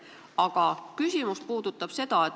Aga mu küsimus on selline.